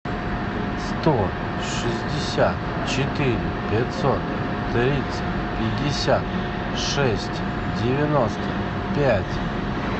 сто шестьдесят четыре пятьсот тридцать пятьдесят шесть девяносто пять